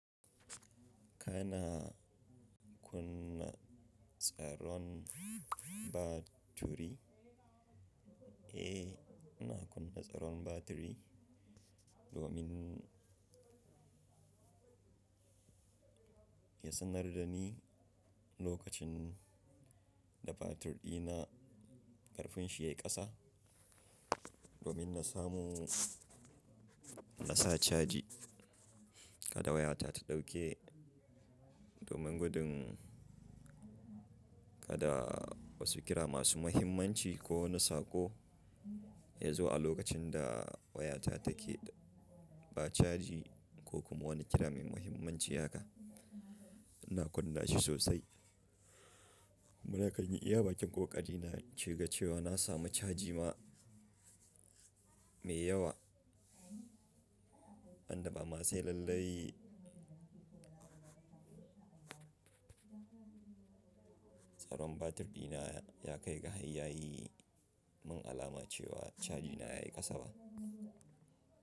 Kana kunna tsaron batiri? Eh, ina kunna tsaron batiri domin ya sanar da ni lokacin da batir ɗina ƙarfin shi ya yi ƙasa, domin na samu na sa caji kada wayata ta ɗauke, domin gudun kada wasu kira masu muhimmanci ko wani saƙo ya zo a lokacin da wayata take ba caji ko kuma wani kira mai muhimmanci haka. Ina kunna shi sosai. Kuma na kan yi iya baƙin ƙoƙari na ci gaba cewa na samu caji ma mai yawa, ban da ba ma sai lallai tsaron batir ɗina ya kai ga har yayi mun alama cewa caji na ya yi ƙasa ba.